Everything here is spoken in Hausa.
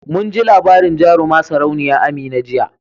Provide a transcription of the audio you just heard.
Munji labarin jaruma sarauniya Amina jiya